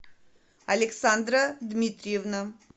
александра дмитриевна